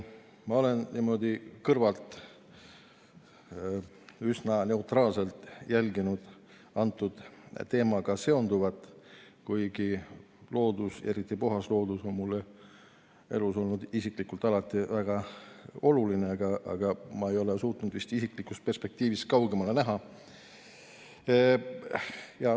Ma olen niimoodi kõrvalt üsna neutraalselt jälginud antud teemaga seonduvat, kuigi loodus, eriti puhas loodus on mulle elus olnud isiklikult alati väga oluline, aga ma ei ole suutnud vist isiklikust perspektiivist kaugemale näha.